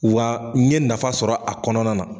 Wa n ye nafa sɔrɔ a kɔnɔna na.